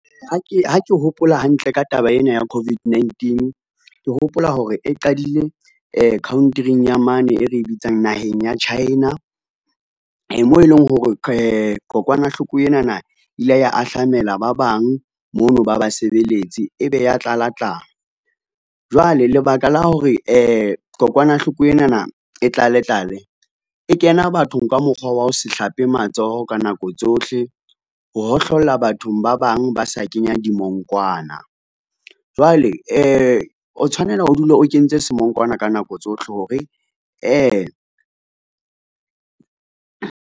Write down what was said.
Ha ke hopola hantle ka taba ena ya COVID-19, ke hopola hore e qadile country-ing ya mane e re bitsang naheng ya China, moo e leng hore kokwanahloko enana e ile ya ahlamela ba bang mono ba basebeletsi ebe ya tlala tlala. Jwale lebaka la hore kokwanahloko enana e tlale tlale, e kena bathong ka mokgwa wa ho se hlape matsoho ka nako tsohle, ho hohlolla bathong ba bang ba sa kenya dimongkwana, jwale o tshwanela o dule o kentse semongkwana ka nako tsohle hore .